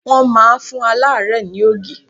Wọ́n máa fún aláàrẹ́ẹ̀ ni ògì.